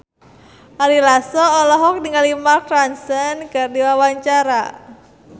Ari Lasso olohok ningali Mark Ronson keur diwawancara